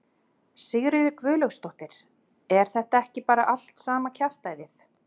Sigríður Guðlaugsdóttir: Er þetta ekki bara allt sama kjaftæðið?